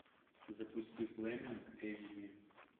запусти флеминг эйч ди